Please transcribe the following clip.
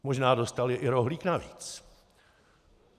Možná dostali i rohlík navíc.